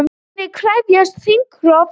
Frjálslyndir krefjast þingrofs